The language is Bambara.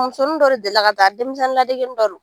Musonin dɔ de delila ka taa ,denmisɛnnin ladegenin dɔ don.